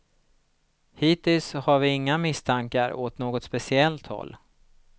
Hittills har vi inga misstankar åt något speciellt håll.